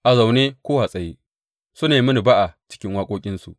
A zaune ko a tsaye, suna yi mini ba’a cikin waƙoƙinsu.